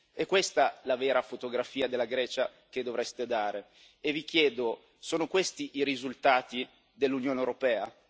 È questa la vera fotografia della Grecia che dovreste dare e io vi chiedo sono questi i risultati dell'Unione europea?